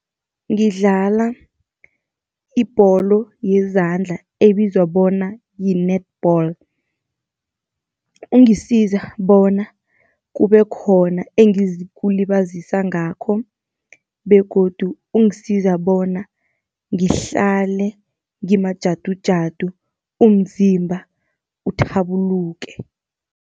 Ngidlala ibholo yezandla ebizwa bona yi-netball. Ungisiza bona kube khona engizikulibazisa ngakho begodu ungisiza bona ngihlale ngimajadujadu, umzimba uthabuluke.